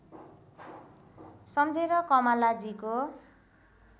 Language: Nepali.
सम्झेर कमलाजीको